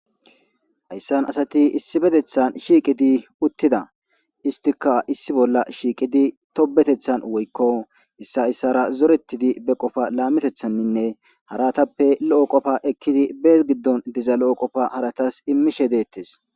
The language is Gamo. Hayssan asati issibetethan shiiqidi uttida istika issi bolla shiiqidi tobetethan woykko issa issara zorettidi be qofa laametethanninne haratappe lo'o qofa ekkidi bee giddon diza lo'o qofa haratas immishe deettes